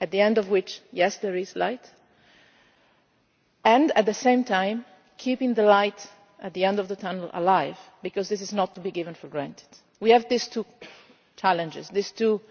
at the end of which there is light, and at the same time keeping the light at the end of the tunnel alive, because this is not to be taken for granted. We have these two challenges, these